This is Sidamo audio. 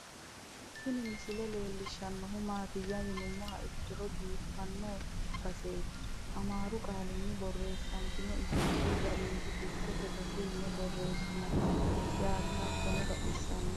Tini misile leelishanu maatiya yinumoha ikkiro bifano baseet amaaru qaalinni boresone itophiyaho jawiid dikkote base yine boresinon yaate hattono baxisanno